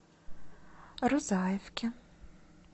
рузаевке